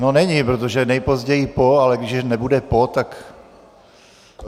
No, není, protože nejpozději po, ale když nebude po, tak...